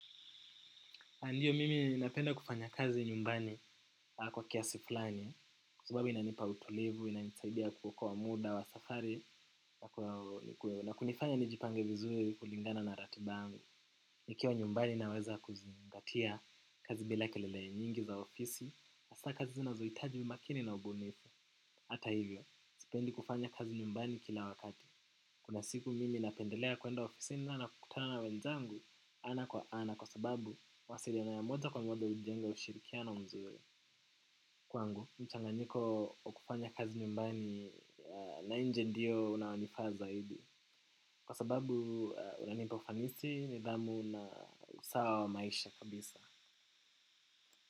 Andiyo mimi napenda kufanya kazi nyumbani. Kwa kiasi fulani. Sababu inanipa utulivu, inanisaidia kuokoa muda wa safari na kunifanya nijipange vizuri kulingana na ratiba ngu. Nikiwa nyumbani naweza kuzingatia kazi bila kelele nyingi za ofisi. Hasa kazi zinazoitaji umakini na ubunifu. Hata hivyo, sipendi kufanya kazi nyumbani kila wakati. Kuna siku mimi napendelea kuenda ofisini nakukutana na wenzangu ana kwa ana kwa sababu wasiliano ya moja kwa mwada hujenga ushirikiano mzuri. Kwangu, mchanganyiko wakufanya kazi nyumbani na nje ndiyo unaonifaa zaidi. Kwa sababu unanipa ufanisi nidhamu na usawa wa maisha kabisa.